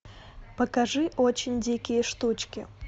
покажи очень дикие штучки